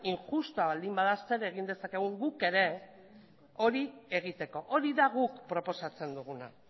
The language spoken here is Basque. injustua baldin bada zer egin dezakegun guk ere hori egiteko hori da guk proposatzen duguna